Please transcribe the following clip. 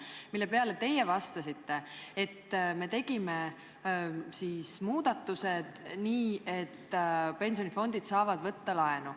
Mille kohta teie ütlesite, et me tegime sellised muudatused, et pensionifondid saavad laenu võtta.